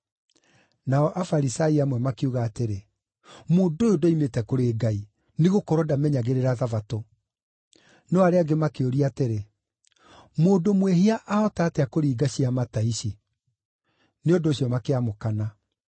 Nao Afarisai amwe makiuga atĩrĩ, “Mũndũ ũyũ ndoimĩte kũrĩ Ngai, nĩgũkorwo ndamenyagĩrĩra Thabatũ.” No arĩa angĩ makĩũria atĩrĩ, “Mũndũ mwĩhia ahota atĩa kũringa ciama ta ici?” Nĩ ũndũ ũcio makĩamũkana.